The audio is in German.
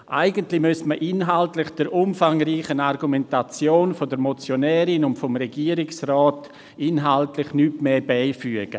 Eigentlich müsste man der umfangreichen Argumentation der Motionärin und des Regierungsrats inhaltlich nichts mehr beifügen.